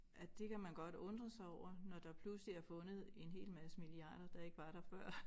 At det kan man godt undre sig over når der pludselig er fundet en hel masse milliarder der ikke var der før